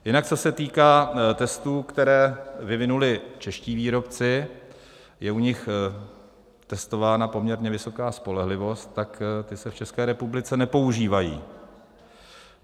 Jinak co se týká testů, které vyvinuli čeští výrobci, je u nich testována poměrně vysoká spolehlivost, tak ty se v České republice nepoužívají.